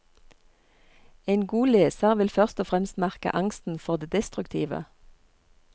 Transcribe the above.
En god leser vil først og fremst merke angsten for det destruktive.